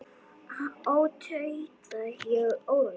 Ó, tauta ég óróleg.